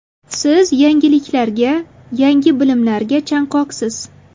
Siz yangiliklarga, yangi bilimlarga chanqoqsiz.